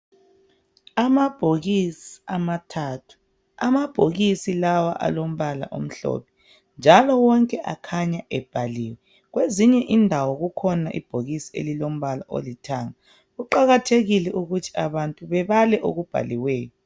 Amabhokisi amathathu, amabhokisi lawa alombala omhlophe njalo wonke akhanya ebhaliwe. Kwezinye indawo kukhona ibhokisi elilombala olithanga. Kuqakathekile ukuthi abantu bebale okubhaliweyo.